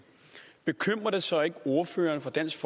bekymrer det så ikke ordføreren for dansk